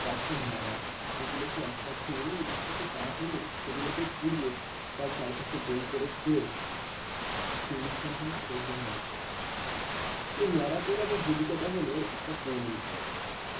গাছের ন্যারা বলে ওগুলোকে একসাথে এনে এবং কিছু কাঠ এনে সেগুলোকে পুড়িয়ে তার চার পাশে গোল করে ঘুরে যে অনুষ্ঠানটি হয় সেটাই হলো ন্যাড়া পোড়া। এই ন্যাড়া পোড়া বা হোলিকা দাহনের একটা পৌরাণিক গল্প আছে।